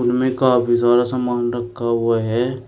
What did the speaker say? उनमें काफी सारा सामान रखा हुआ है।